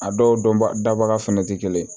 A dɔw dɔn baga fɛnɛ te kelen ye